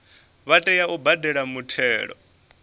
vha tea u badela muthelo